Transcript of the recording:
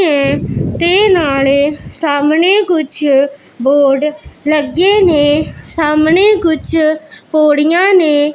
ਤੇ ਨਾਲੇ ਸਾਹਮਣੇ ਕੁੱਛ ਬੋਰਡ ਲੱਗੇ ਨੇਂ ਸਾਹਮਣੇ ਕੁੱਛ ਪੌੜੀਆਂ ਨੇਂ।